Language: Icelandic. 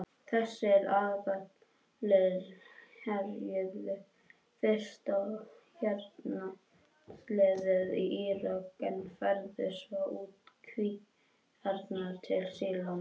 Þessir aðilar herjuðu fyrst á hernámsliðið í Írak en færðu svo út kvíarnar til Sýrlands.